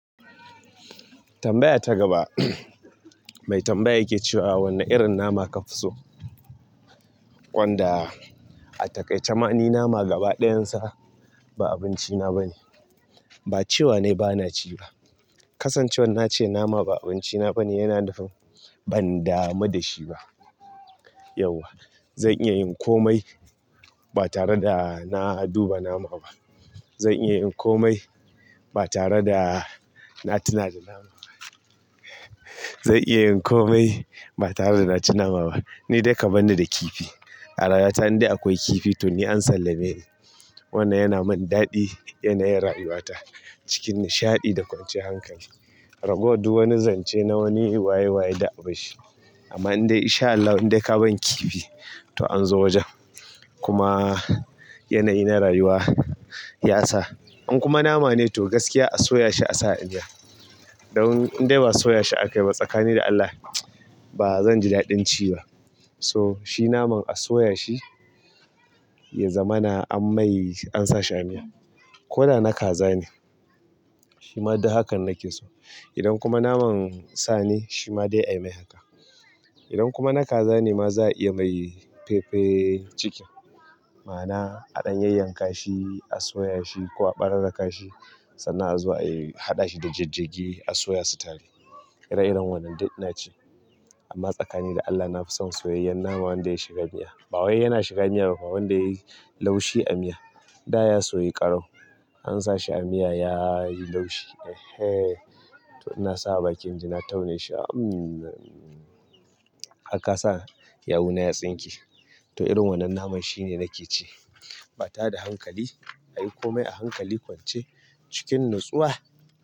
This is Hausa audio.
Tambaya ta gaba, mai tambaya yake cewa wane irin nama ka fi so? Wanda a taƙaice ma ni nama gabaɗayan sa ba abinci na bane ba cewa na yi ba na ci ba. Kasancewar na ce nama ba abinci na bane yana nufin ban damu da shi ba. Yauwa. Zan iya yin komai ba tare da na duba nama ba. Zan iya yin komai ba tare da na tuna da nama ba. Zan iya yin komai ba tare da na ci nama ba. Ni dai ka barni da kifi. A rayuwata indai akwai kifi to ni an sallame ni. Wannan yana mun daɗi, yanayin rayuwa ta cikin nishaɗi da kwancan hankali. Ragowar duk wani zance na wani waye waye da abun shi. Amman nidai in shaa Allahu indai ka ban kifi to anyone wajen kuma yanayi na rayuwa ya sa. In kuma nama ne to gaskiya a soya shi a sa a miya. Dan in dai ba soya shi aka yi ba tsakani da Allah ba zan ji daɗin ci ba. So shi naman a soya shi ya zama na an mai an sa shi a miya. Ko da na kaza ne. Shi ma duk hakan nake so. Idan kuma naman sa ne shi ma dai a yi mai haka. Idan kuma na kaza ne ma za a iya mai pepper chicken. Ma'ana a ɗan yayyanka shi a soya shi ko a ɓare ka shi sannan a zo a yi haɗa shi da jajjage a soya su tare. Ire iren wannan dai ina ci. Amma tsakani da Allah na fi son soyayyen nama wanda ya shiga miya. Ba wai yana shiga miya ba fa wanda yayi laushi a miya. Da ya soyu ƙarau an sa shi a miya yayi laushi. Eh hee to ina sawa bakin ji na taune shi amm. Har ka sa yawuna ya tsinke. To irin wannan naman shine nake ci. Ba tare da hankali ayi komai a hankali kwance cikin natsuwa.